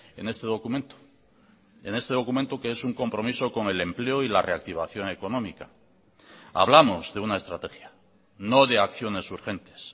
en este documento en este documento que es un compromiso con el empleo y la reactivación económica hablamos de una estrategia no de acciones urgentes